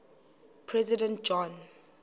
president john